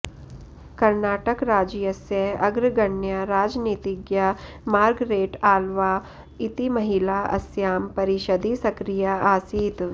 कर्णाटकराज्यस्य अग्रगण्या राजनीतिज्ञा मार्गरेट् आळ्वा इति महिला अस्यां परिषदि सक्रिया आसीत्